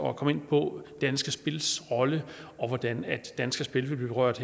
at komme ind på danske spils rolle og hvordan danske spil vil blive berørt